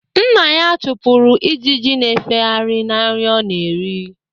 Nna ya chụpụrụ ijiji na-efegharị na nri ọ na-eri